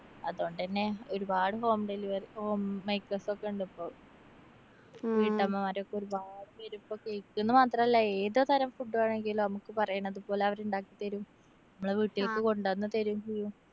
അതോണ്ടന്നെ ഒരുപാട് home delivery, home makers ഒക്കെ ഉണ്ട് ഇപ്പോ. വീട്ടമ്മമാരൊക്കെ ഒരുപാട് പേരിപ്പോ cake ന്ന് മാത്രല്ല ഏത് തരം food വേണെങ്കിലും നമുക്ക് പറയണതുപോലെ അവരുണ്ടാക്കി തരും. മ്മളെ വീട്ടില്‍ക്ക്‌ കൊണ്ടന്നു തരും ചെയ്യും.